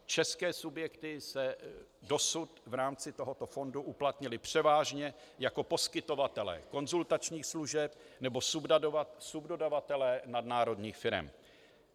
České subjekty se dosud v rámci tohoto fondu uplatnily převážně jako poskytovatelé konzultačních služeb nebo subdodavatelé nadnárodních firem.